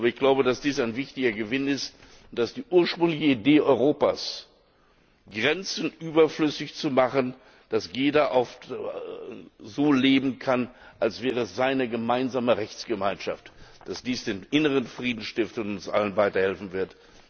Aber ich glaube, dass dies ein wichtiger Gewinn ist, dass die ursprüngliche Idee Europas, Grenzen überflüssig zu machen, dass jeder so leben kann, als wäre es eine gemeinsame Rechtsgemeinschaft, den inneren Frieden stiftet und uns allen weiterhelfen wird.